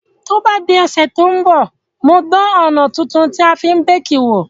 To bá di òsẹ̀ to n bọ̀, n o dan òná tuntun tí a fi n bake wò